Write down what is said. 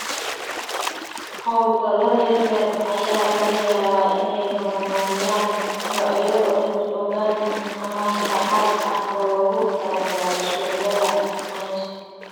Hawlgallada yaryar ayaa laga yaabaa inay horumariyaan noocyo organic ama dhaxal ah oo loogu talagalay suuqyada niche.